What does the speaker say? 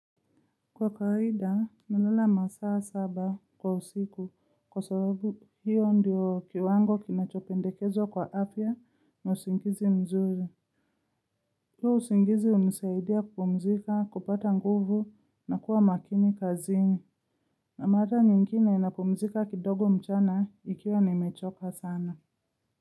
Kwa kawaida, nalala masaa saba kwa usiku kwa sababu hiyo ndiyo kiwango kinachopendekezwa kwa apfa na usingizi mzuri. Huo usingizi hunisaidia kupumzika, kupata nguvu na kuwa makini kazini. Na mara nyingine napumzika kidogo mchana ikiwa nimechoka sana.